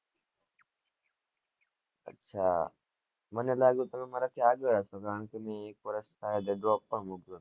હ મને લાગ્યું તમે મારા થી આગળ હસો કારણ કે મેં એક વર્ષ drop પણ મુક્યું હતું